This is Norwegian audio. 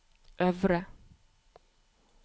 øvre